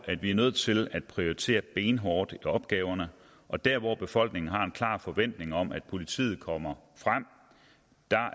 at vi er nødt til at prioritere benhårdt i opgaverne og der hvor befolkningen har en klar forventning om at politiet kommer frem